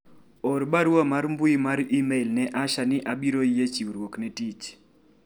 or barua mar mbui mar email ne Asha ni abiro yie chiwruok ne tich